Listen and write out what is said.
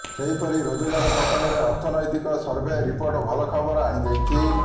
ସେହିପରି ରୋଜଗାର ପ୍ରସଙ୍ଗରେ ଅର୍ଥନୈତିକ ସର୍ଭେ ରିପୋର୍ଟ ଭଲ ଖବର ଆଣିଦେଇଛି